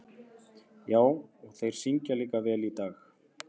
Já, og þeir syngja líka vel í dag.